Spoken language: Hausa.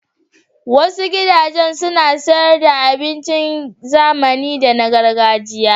Wasu gudajen suna sayar da abincin zamani da na gargajiya.